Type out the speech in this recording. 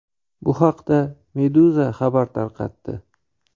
Bu haqda Meduza xabar tarqatdi .